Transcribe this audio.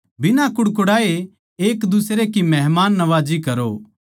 बिना कुड़कुड़ाए एकदुसरे की मेहमाननवाजी करो